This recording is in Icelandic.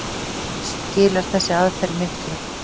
Skilar þessi aðferð miklu?